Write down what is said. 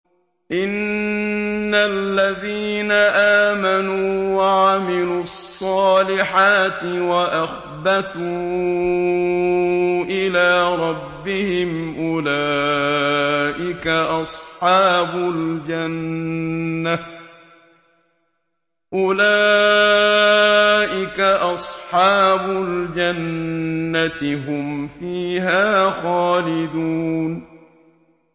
إِنَّ الَّذِينَ آمَنُوا وَعَمِلُوا الصَّالِحَاتِ وَأَخْبَتُوا إِلَىٰ رَبِّهِمْ أُولَٰئِكَ أَصْحَابُ الْجَنَّةِ ۖ هُمْ فِيهَا خَالِدُونَ